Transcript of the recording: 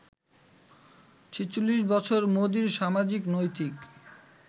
৪৬ বছর মোদির সামাজিক, নৈতিক